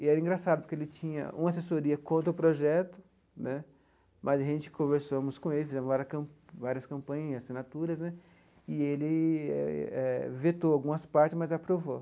E era engraçado, porque ele tinha uma assessoria contra o projeto né, mas a gente conversamos com ele, fizemos várias cam várias campanhas, assinaturas né, e ele eh vetou algumas partes, mas aprovou.